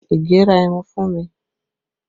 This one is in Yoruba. Ige ra ẹmu fún mi